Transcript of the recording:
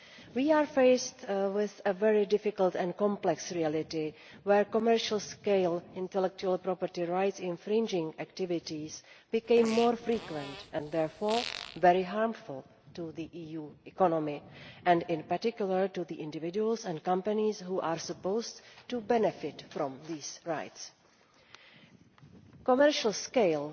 We are faced with a very difficult and complex reality commercial scale IPR infringing activities have become more frequent and therefore very harmful to the EU economy, and in particular to the individuals and companies who are supposed to benefit from these rights. Commercial scale